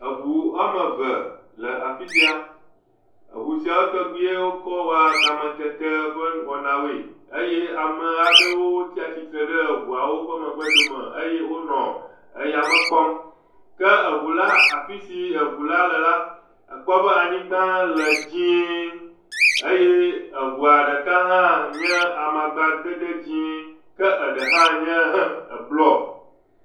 Eŋu woame ve le afi sia. Eŋu sia ƒomevi wokɔ wɔna kametete ƒe wɔnawoe. Eye amaa ɖewo tsa tsitre ɖe eŋuawo ƒe megbedome. Eye wonɔ eyame kpɔm. Ke eŋula, afi si eŋula le la, akpɔ be be anyigba le dzẽee. Eye eŋua ɖeka hã nye amakpadede le dzẽẽee. Ke eɖe hã nye ɛ blɔ.